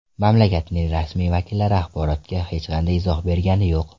Mamlakatning rasmiy vakillari axborotga hech qanday izoh bergani yo‘q.